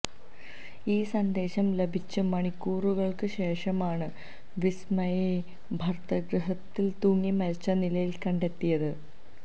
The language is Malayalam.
ഈ സന്ദേശം ലഭിച്ച് മണിക്കൂറുകള്ക്ക് ശേഷമാണ് വിസ്മയയെ ഭര്തൃഗൃഹത്തില് തൂങ്ങി മരിച്ച നിലയില് കണ്ടെത്തിയത്